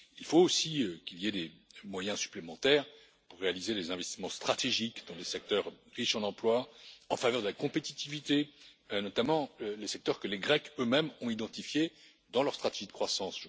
Il faut aussi qu'il y ait des moyens supplémentaires pour réaliser des investissements stratégiques dans les secteurs riches en emplois, en faveur de la compétitivité, notamment les secteurs que les Grecs, eux mêmes, ont identifiés dans leur stratégie de croissance.